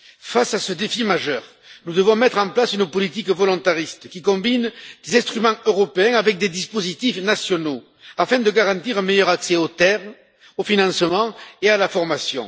Face à ce défi majeur, nous devons mettre en place une politique volontariste, qui combine des instruments européens avec des dispositifs nationaux, afin de garantir un meilleur accès aux terres, au financement et à la formation.